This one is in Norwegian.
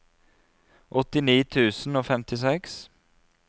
åttini tusen og femtiseks